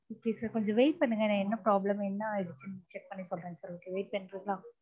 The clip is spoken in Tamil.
okay sir கொஞ்சம் wait பண்ணுங்க நான் என்ன problem என்ன ஆயிடுச்சுனு check பண்ணி சொல்றேன் sir okay wait பண்றீங்களா?